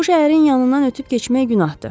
Bu şəhərin yanından ötüb keçmək günahdır.